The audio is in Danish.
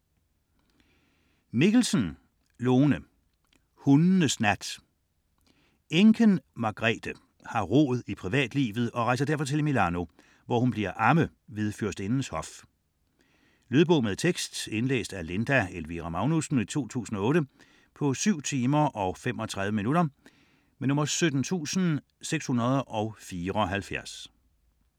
Mikkelsen, Lone: Hundenes nat Enken Margrethe har rod i privatlivet og rejser derfor til Milano, hvor hun bliver amme ved fyrstindens hof. Lydbog med tekst 17674 Indlæst af Linda Elvira Magnussen, 2008. Spilletid: 7 timer, 35 minutter.